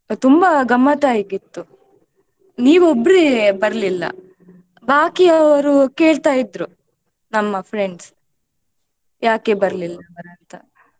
ತುಂಬಾ ಗಮ್ಮತ್ ಆಗಿತ್ತು ನೀವು ಒಬ್ರೇ ಬರ್ಲಿಲ್ಲ ಬಾಕಿ ಅವ್ರು ಕೇಳ್ತಾ ಇದ್ರು ನಮ್ಮ friends ಯಾಕೆ ಬರ್ಲಿಲ್ಲ ಅಂತ.